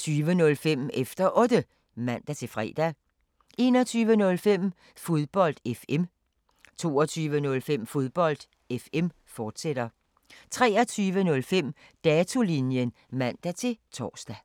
20:05: Efter Otte (man-fre) 21:05: Fodbold FM 22:05: Fodbold FM, fortsat 23:05: Datolinjen (man-tor)